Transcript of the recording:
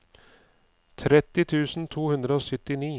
tretti tusen to hundre og syttini